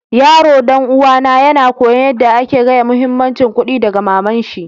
Yaron dan uwa na yana koyon yada ake gaya muhimmancin kuɗi daga mama'n shi.